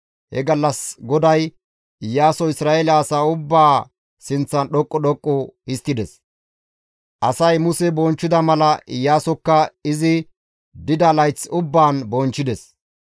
He gallas GODAY Iyaaso Isra7eele asaa ubbaa sinththan dhoqqu dhoqqu histtides; asay Muse bonchchida mala Iyaasokka izi dida layth ubbaan bonchchides.